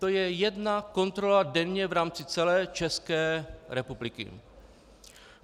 To je jedna kontrola denně v rámci celé České republiky.